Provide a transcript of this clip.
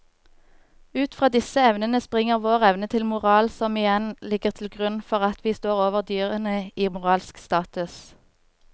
Ut fra disse evnene springer vår evne til moral som igjen ligger til grunn for at vi står over dyrene i moralsk status.